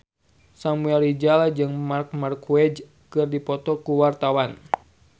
Samuel Rizal jeung Marc Marquez keur dipoto ku wartawan